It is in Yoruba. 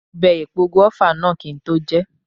Mo bẹ epo gùáfà náà kí n tó jeẹ̀